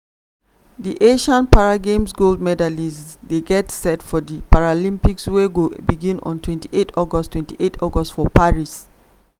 di asian para games gold medallist dey get set for di paralympics wey go begin on twenty eight august twenty eight august for paris.